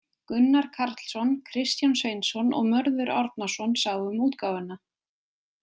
Gunnar Karlsson, Kristján Sveinsson og Mörður Árnason sáu um útgáfuna.